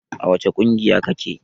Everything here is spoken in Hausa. A wace ƙungiya ka ke?